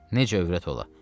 necə övrət ola?